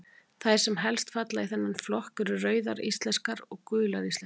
Þær sem helst falla í þennan flokk eru Rauðar íslenskar og Gular íslenskar.